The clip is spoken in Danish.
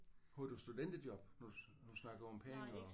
Havde du studenterjob når du når du snakkede om penge og?